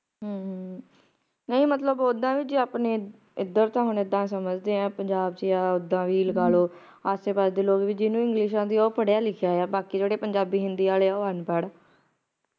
ਹਮ ਹਮ ਨਹੀਂ ਮਤਲਬ ਉੱਦਾਂ ਵੀ ਜੇ ਆਪਣੇ ਏਧਰ ਤਾ ਹੁਣ ਇੱਦਾਂ ਸਮਜਦੇ ਏਏ ਪੰਜਾਬ ਚੇ ਆ ਉੱਦਾਂ ਵੀ ਲਗਾਲੋ ਆਸੇ ਪਾਸੇ ਦੇ ਲੋਕ ਵੀ ਜਿਹਨੂੰ english ਆਂਦੀ ਆ ਉਹ ਪੜ੍ਹਿਆ ਲਿਖਿਆ ਆ ਬਾਕੀ ਜਿਹੜੇ ਪੰਜਾਬੀ ਹਿੰਦੀ ਆਲੇ ਆ ਉਹ ਅਨਪੜ੍ਹ ਆ